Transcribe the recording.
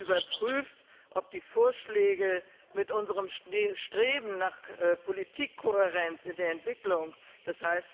Wir haben überprüft, ob die Vorschläge mit unserem Streben nach Politikkohärenz in der Entwicklung, d.